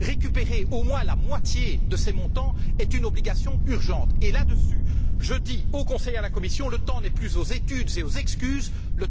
Récupérer au moins la moitié de ces montants est une obligation urgente et, sur ce point, je dis au Conseil et à la Commission que le temps n'est plus aux études et aux excuses mais